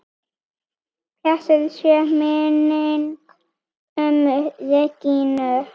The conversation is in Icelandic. Blessuð sé minning ömmu Regínu.